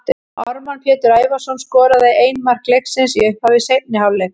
Ármann Pétur Ævarsson skoraði ein mark leiksins í upphafi seinni hálfleiks.